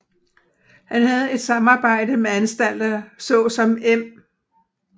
Han havde et samarbejde med anstalter såsom Em